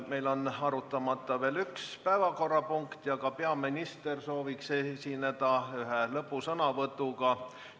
Meil on arutamata veel üks päevakorrapunkt ja ka peaminister soovib esineda lõpusõnavõtuga.